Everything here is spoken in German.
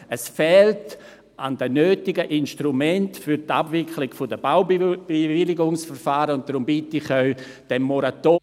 Es fehlt an den nötigen Instrumenten für die Abwicklung der Baubewilligungsverfahren, und darum bitte ich Sie, diesem Moratorium …